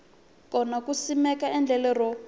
kona ku simeka endlelo ro